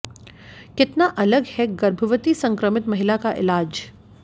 कितना अलग है गर्भवती संक्रमित महिला का इलाज